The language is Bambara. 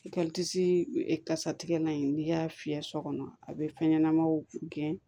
I ka kasatigɛlan in n'i y'a fiyɛ sɔgɔma a bɛ fɛn ɲɛnamaw gɛn